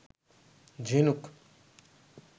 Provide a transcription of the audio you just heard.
ঝিনুক